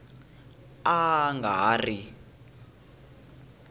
a a nga ha ri